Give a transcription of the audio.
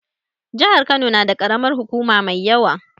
Jihar Kano na da karamar hukuma mai yawa